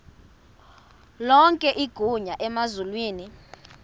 lonke igunya emazulwini